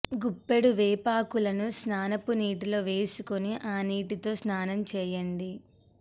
గుప్పెడు వేపాకులను స్నానపు నీటిలో వేసుకుని ఆ నీటితో స్నానం చేయండి